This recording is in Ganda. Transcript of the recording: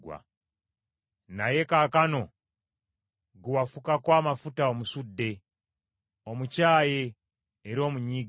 Naye kaakano, gwe wafukako amafuta omusudde, omukyaye era omunyiigidde.